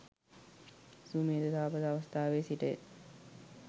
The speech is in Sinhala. සුමේධ තාපස අවස්ථාවේ සිටය.